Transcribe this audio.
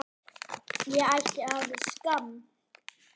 Guðný: Óttastu það?